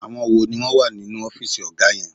Àwọn wo ni wọ́n wà nínú ọ́fìsì ọ̀gá yẹn?